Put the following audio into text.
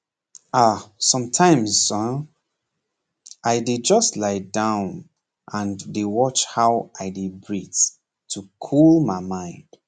ah sometimes um i just lie down and dey watch how i dey breathe to cool my mind